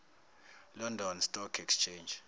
london stock exchange